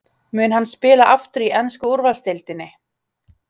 Mun hann spila aftur í ensku úrvalsdeildinni?